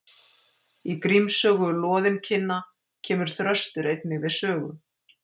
í gríms sögu loðinkinna kemur þröstur einnig við sögu